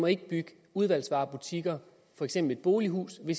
ikke bygge udvalgsvarebutikker for eksempel et bolighus ved